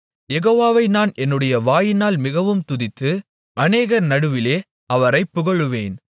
யெகோவாவை நான் என்னுடைய வாயினால் மிகவும் துதித்து அநேகர் நடுவிலே அவரைப் புகழுவேன்